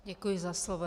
Děkuji za slovo.